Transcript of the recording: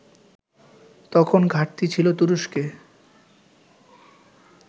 তখন ঘাটতি ছিল তুরস্কে